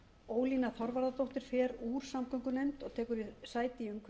ólína þorvarðardóttir fer úr samgöngunefnd og rekur sæti